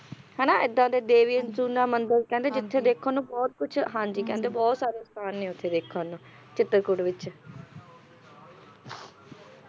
ਹੈ ਨਾ ਇਹਦਾ ਦੇ ਦੇਵੀ ਅਨੁਸੂਯਾ ਮੰਦਿਰ ਕਹਿੰਦੇ ਜਿੱਥੇ ਦੇਖਣ ਨੂੰ ਬਹੁਤ ਕੁਛ ਹਾਂ ਜੀ ਕਹਿੰਦੇ ਬਹੁਤ ਸਾਰੇ ਸਥਾਨ ਨੇ ਉੱਥੇ ਦੇਖਣ ਨੂੰ ਚਿਤਰਕੂਟ ਵਿੱਚ